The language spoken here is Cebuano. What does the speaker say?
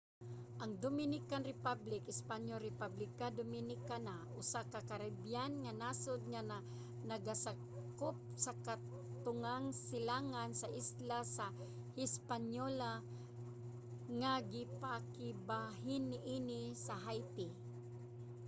ang dominican republic espanyol: república dominicana usa ka caribbean nga nasod nga nagasakop sa katungang silangan sa isla sa hispaniola nga ginapakigbahin niini sa haiti